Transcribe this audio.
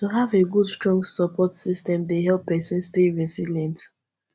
to have a good strong support system dey help pesin stay resilient